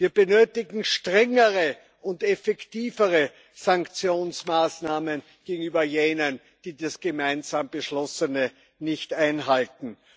Wir benötigen strengere und effektivere Sanktionsmaßnahmen gegenüber jenen, die das gemeinsam Beschlossene nicht einhalten.